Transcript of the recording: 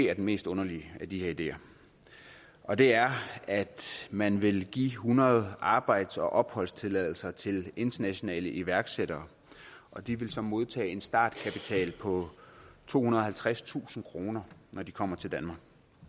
er den mest underlige af de her ideer og det er at man vil give hundrede arbejds og opholdstilladelser til internationale iværksættere og de vil så modtage en startkapital på tohundrede og halvtredstusind kr når de kommer til danmark